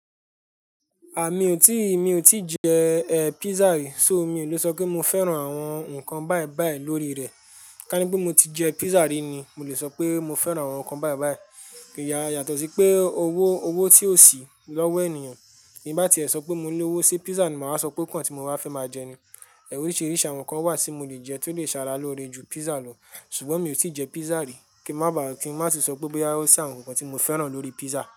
À, mí ò tí, mí ò tí jẹ, eh, pizza rí, so mí ò le sọ pé mo fẹ́ran àwọn nǹkan báyìí báyìí lórí rẹ̀. Ká ní pé mo ti jẹ pizza rí ni mo le sọ pé mo fẹ́ran àwọn nǹkan báyìí báyìí. Íya yàtọ̀ sí pé owó, owó tí ò sí lọ́wọ́ ènìyàn. Bí nbá ti ẹ sọ pé mo ní owó, sé pizza ni màá wa sọ pé ó kàn tí mo wa fẹ́ máa jẹ ni. Oríṣìíríṣìí àwọn nǹkan wà tí mo le jẹ tó lè ṣàrà lóore ju pizza lọ. Ṣùgbọ́n mí ò tí jẹ pizza rí. Kí má bàa kí n má sì sọ pé bọ́yá ó sí àwọn nǹkan tí mo fẹ́ran lórí pizza.